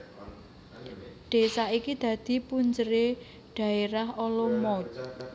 Désa iki dadi punjeré Dhaérah Olomouc